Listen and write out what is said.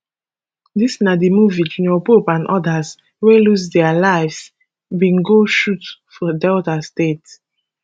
dis na di movie junior pope and odas wey lose dia lives bin go shoot for delta state